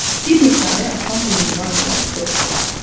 Bir neçə ay Aslan bu minval ilə dolandı.